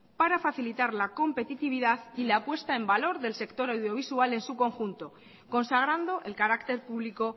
para facilitar la competitividad y la puesta en valor del sector audiovisual en su conjunto consagrando el carácter público